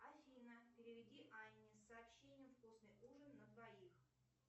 афина переведи анне сообщение вкусный ужин на двоих